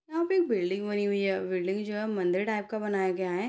यहाँ पर एक बिल्डिंग बनी हुई है बिल्डिंग जो है मंदिर टाइप का बनाया गया है।